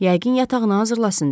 Yəqin yatağını hazırlasın deyə.